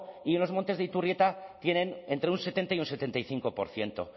y en los montes de iturrieta tienen entre un setenta y un setenta y cinco por ciento